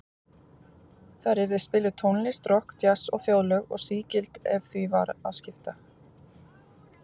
Þar yrði spiluð tónlist, rokk, djass og þjóðlög, og sígild ef því var að skipta.